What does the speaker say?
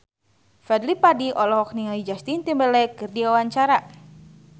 Fadly Padi olohok ningali Justin Timberlake keur diwawancara